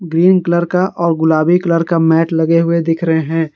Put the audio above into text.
Green colour का और गुलाबी कलर के मैट लगे हुए दिख रहे हैं।